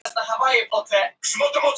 Það er allt í skötulíki